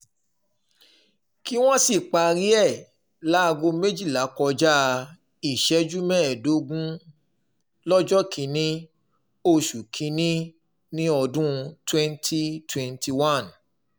kí wọ́n sì parí ẹ̀ láago méjìlá kọjá ìṣẹ́jú mẹ́ẹ̀ẹ́dógún lọ́jọ́ kìn-ín-ní oṣù kín-ín-ní ọdún twenty twenty one